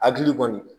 Hakili kɔni